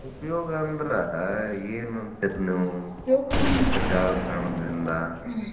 ಉಪಯೋಗ ಅಂದ್ರ್ ಏನ್ ಅಂತೀರಿ ನೀವ್? ಸಾಮಾಜಿಕ ಜಾಲತಾಣದಿಂದಾ?